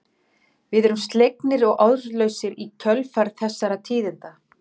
Við erum slegnir og orðlausir í kjölfar þessara tíðinda.